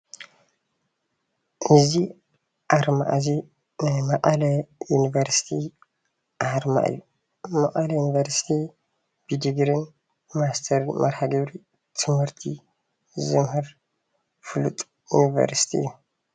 እዚ ኣርማ እዚ ናይ መቐለ ዩኒቨርስቲ ኣርማ እዩ፡፡ መቐለ ዩኒቨርስቲ ብድግሪን ብማስትርን መርሃ ግብሪ ትምህርቲ ዘምህር ፍሉጥ ዩኒቨርስቲ እዩ፡፡